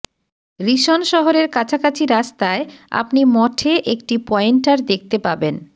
reason শহরের কাছাকাছি রাস্তায় আপনি মঠে একটি পয়েন্টার দেখতে পাবেন